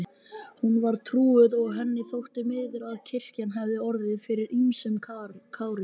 Hún var trúuð og henni þótti miður að kirkjan hafði orðið fyrir ýmsum kárínum.